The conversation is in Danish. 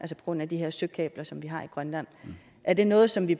grund af de her søkabler som vi har i grønland er det noget som vi